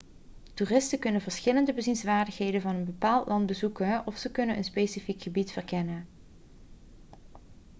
toeristen kunnen verschillende bezienswaardigheden van een bepaald land bezoeken of ze kunnen een specifiek gebied verkennen